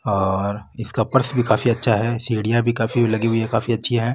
और इसका पर्स भी काफी अच्छा है सीडिया भी काफ़ी लगी हुई है काफी अच्छी है।